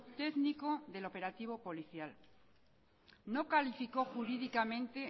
técnico del operativo policial no calificó jurídicamente